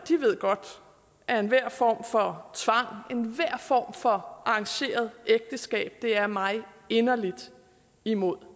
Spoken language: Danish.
ved godt at enhver form for tvang enhver form for arrangeret ægteskab er mig inderligt imod